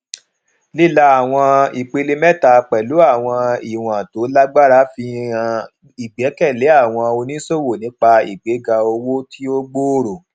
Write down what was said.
lílà àwọn ìpele mẹta pẹlú àwọn ìwọn tó lágbára fi hàn ìgbẹkẹlé àwọn oníṣòwò nípa ìgbéga owó tí ó gbòòrò